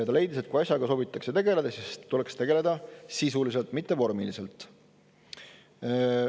Ta leidis, et kui asjaga soovitakse tegeleda, tuleks tegeleda sisuliselt, mitte vormiliselt.